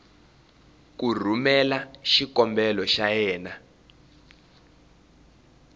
ku rhumela xikombelo xa yena